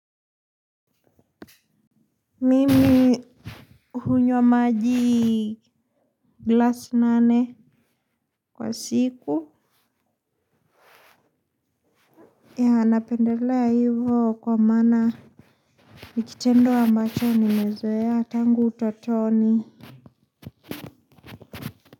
Mimi hunywa maji glass nane. Kwa siku ya napendelea hivo kwa maana ni kitendo ambacho nimezoea tangu utotoni.